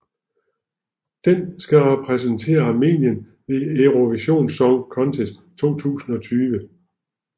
Den skal repræsentere Armenien ved Eurovision Song Contest 2020